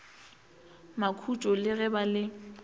makhutšo le ge ba le